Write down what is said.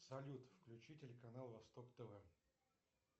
салют включи телеканал восток тв